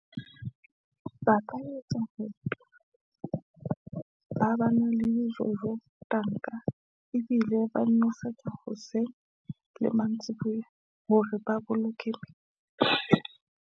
Ba ka etsa hore ba ba na le dijojo tanka, ebile ba nosetsa hoseng le mantsiboya, hore ba boloke.